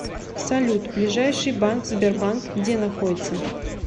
салют ближайший банк сбербанк где находится